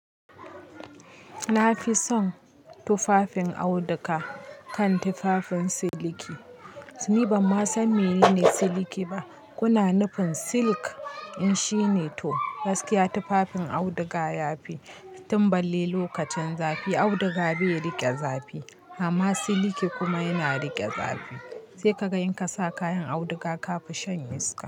Na fi son tufafin auduga kan tufafin siliki. Ni ban ma san menene siliki ba. Kuna nufin silk? In shine to, gaskiya tufafin auduga ya fi. Tun balle lokacin zafi, auduga bai riƙe zafi amma siliki kuma yana riƙe zafi. Sai ka ga in ka sa kayan auduga ka fi shan iska.